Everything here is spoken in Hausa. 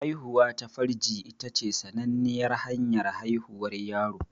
Haihuwa ta farji ita ce sananniyar hanyar haihuwar yaro.